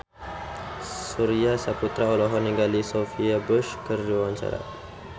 Surya Saputra olohok ningali Sophia Bush keur diwawancara